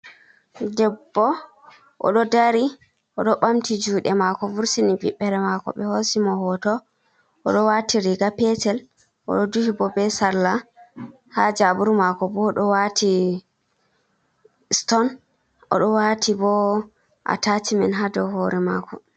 Debbo oɗo dari oɗo ɓamti juɗe mako vurtini viɓbere mako be hosi mo hoto, oɗo wati riga petel oɗo duhi bo be salla, ha jaburu mako bo oɗo wati stone oɗo wati bo a tacimen ha dou hore mako.